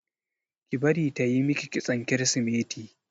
Ki bari tayi miki kitson kirisimeti!